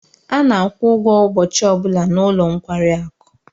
A na-akwụ ụgwọ ụbọchị ọ bụla n'ụlọ nkwari akụ.